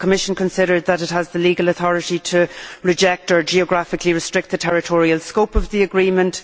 Does the Commission consider that it has the legal authority to reject or geographically restrict the territorial scope of the agreement?